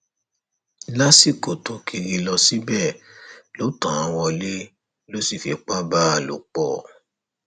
lásìkò tó kiri lọ síbẹ ló tàn án wọlé tó sì fipá bá a lò pọ